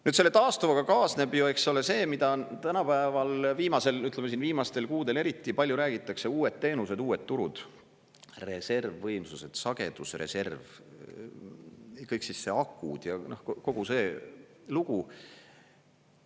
Nüüd, selle taastuvaga kaasneb ju, eks ole, see, mida on tänapäeval, viimasel, ütleme, siin viimastel kuudel eriti palju räägitakse: uued teenused, uued turud, reservvõimsused, sagedusreserv, kõik siis see akud ja kogu see lugu.